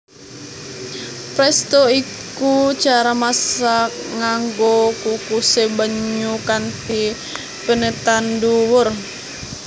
Presto iku cara masak nganggo kukusé banyu kanthi penetan dhuwur